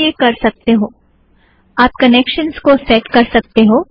आप भी ये कर सकते हो आप कनेक्शन को सेट कर सकते हो